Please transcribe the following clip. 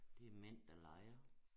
Det mænd der leger